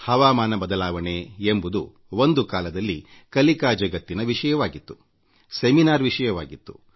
ಹವಾಮಾನ ಬದಲಾವಣೆ ಎಂಬುದು ಒಂದು ಕಾಲದಲ್ಲಿ ಕಲಿಕಾ ಜಗತ್ತಿನ ವಿಷಯವಾಗಿತ್ತುವಿಚಾರ ಸಂಕಿರಣಗಳ ವಸ್ತುವಾಗಿತ್ತು